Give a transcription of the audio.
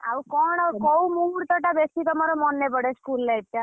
ଆଉ କଣ କୋଉ ମୁହୂର୍ତ୍ତ ଟା ତମର ବେଶୀ ମନେପଡେ school life ଟା?